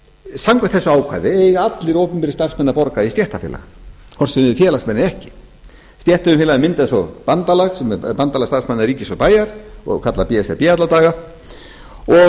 samkvæmt þessu ákvæði eiga allir opinberir starfsmenn að borga í stéttarfélag hvort sem þeir eru félagsmenn eða ekki stéttarfélögin mynda svo bandalag sem er bandalag starfsmanna ríkis og bæja og kallað b s r b alla daga og